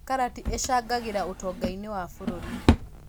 Karati ĩcangagĩra ũtonga-inĩ wa bũrũri